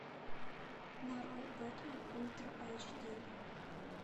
нарой бэтмен ультра айч ди